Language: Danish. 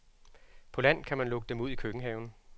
På land kan man lukke dem ud i køkkenhaven.